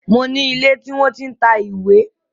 Mo ní ilé tí wọ́n tí ń ta ìwé